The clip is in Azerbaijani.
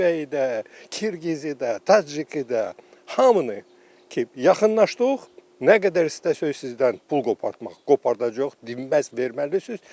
Özbəyi də, Qırğızı da, Taciki də, hamını ki, yaxınlaşdıq, nə qədər istəsəz sizdən pul qopartmaq qopardacağıq, dinməz verməlisiz.